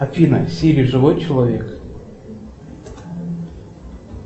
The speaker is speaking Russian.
афина сири живой человек